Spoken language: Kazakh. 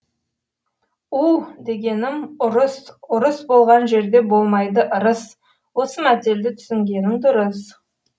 ұ дегенім ұрысұрыс болған жердеболмайды ырысосы мәтелді түсінгенің дұрыс